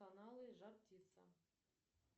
каналы жар птица